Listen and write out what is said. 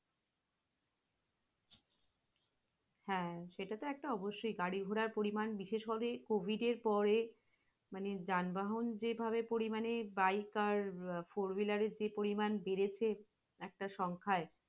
হ্যাঁ সেটা তো অবশ্যই গাড়ি-ঘোড়ার পরিমাণ বিশেষভাবে covid এর পরে, মানে যানবাহন যে ভাবে পরিমানে biker four whiler যে পরিমাণ বেড়েছে এখান সংখ্যাই।